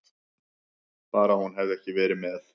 Bara hún hefði ekki verið með.